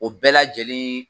O bɛɛ lajɛlen